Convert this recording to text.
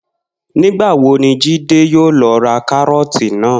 Nígbà wo ni Jídé yóò lo̩ ra káró̩ò̩tì náà?